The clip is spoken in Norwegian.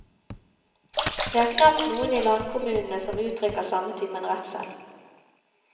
Det er knapt noen i landkommunene som uttrykker samme typen redsel.